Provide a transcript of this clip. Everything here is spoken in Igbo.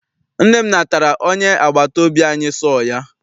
Nne m natara onye agbata obi anyi sọọ ya.